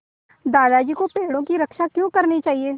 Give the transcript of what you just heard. दादाजी को पेड़ों की रक्षा क्यों करनी चाहिए